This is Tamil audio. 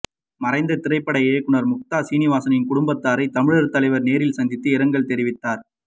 மறைந்த திரைப்பட இயக்குநர் முக்தா சீனிவாசனின் குடும்பத்தாரை தமிழர் தலைவர் நேரில் சந்தித்து இரங்கல் தெரிவித்தார்